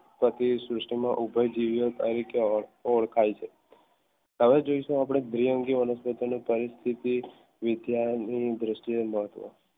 સુષ્ટ્રી ઉભય તરીકે ઓળખાય છે હવે જોઈશુ આપણે દ્વિઅંગી વનસ્પતિ ની પરિસ્થિતિ દ્રષ્ટિએ